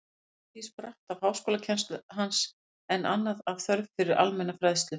Margt af því spratt af háskólakennslu hans, en annað af þörf fyrir almenna fræðslu.